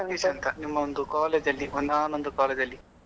ರಾಕೇಶ್ ಅಂತ ನಿಮ್ಮ ಒಂದು college ಅಲ್ಲಿ ಒಂದಾನೊಂದು ಕಾಲದಲ್ಲಿ.